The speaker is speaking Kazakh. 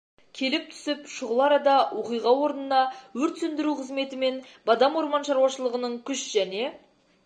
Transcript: келіп түсіп шұғыл арада оқиға орнына өрт сөндіру қызметі мен бадам орман шаруашылығының күш және